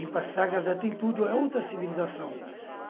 Em Passagarda tem tudo a outra civilização.